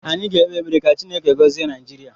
Anyị ga-ekpe ekpere ka Chineke gọzie Naijiria